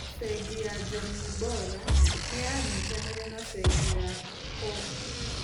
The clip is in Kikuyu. Bengi ya Jamii Bora nĩ yanyitanire na Bengi ya Co-op.